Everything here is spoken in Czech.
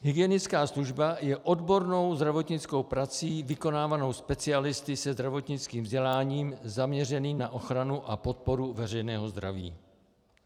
Hygienická služba je odbornou zdravotnickou prací vykonávanou specialisty se zdravotnickým vzděláním zaměřených na ochranu a podporu veřejného zdraví.